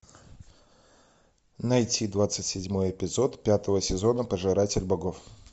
найти двадцать седьмой эпизод пятого сезона пожиратель богов